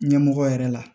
Ɲɛmɔgɔ yɛrɛ la